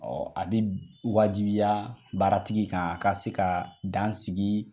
Ɔ a bɛ wajibiya baara tigi kan a ka se ka dan sigi.